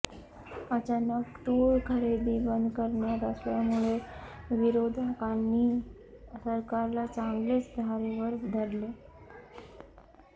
अचानक तूर खरेदी बंद करण्यात आल्यामुळे विरोधकांनी सरकारला चांगलेच धारेवर धरले